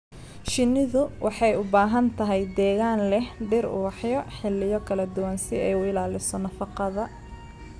Shinnidu waxay u baahan tahay deegaan leh dhir ubaxyo xilliyo kala duwan si ay u ilaaliso nafaqada.